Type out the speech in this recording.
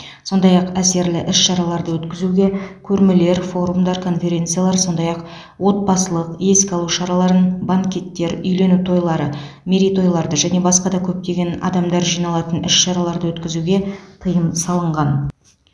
сондай ақ әсерлі іс шараларды өткізуге көрмелер форумдар конференциялар сондай ақ отбасылық еске алу шараларын банкеттер үйлену тойлары мерейтойларды және басқа да көптеген адамдар жиналатын іс шараларды өткізуге тыйым салынған